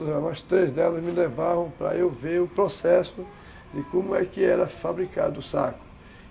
As três delas me levaram para eu ver o processo de como é que era fabricado o saco.